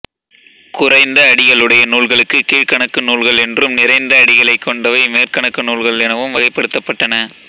குறைந்த அடிகளுடைய நூல்களுக்கு கீழ்க்கணக்கு நூல்கள் என்றும் நிறைந்த அடிகளைக் கொண்டவை மேற்கணக்கு நூல்கள் எனவும் வகைபடுத்தப்பட்டன